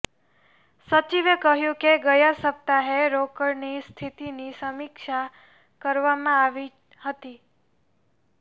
સચિવે કહ્યું કે ગયા સપ્તાહે રોકડની સ્થિતિની સમીક્ષા કરવામાં આવી હતી